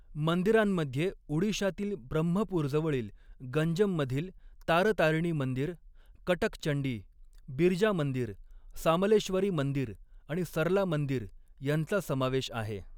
मंदिरांमध्ये उडिशातील ब्रह्मपूरजवळील गंजममधील तारतारिणी मंदिर, कटक चंडी, बिरजा मंदिर, सामलेश्वरी मंदिर आणि सरला मंदिर यांचा समावेश आहे.